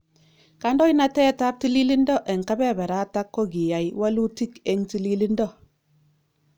Kandoinatetab tililindo eng kebeberatak kokiyai walutiik eng tililindo.